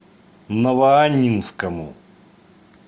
новоаннинскому